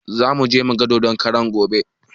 Zamuje mugan dodon karan gobe